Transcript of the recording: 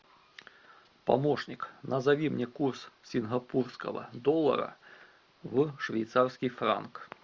помощник назови мне курс сингапурского доллара в швейцарский франк